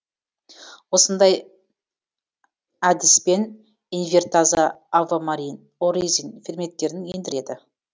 осындай әдіспен инвертаза авоморин оризин ферменттерін ендіреді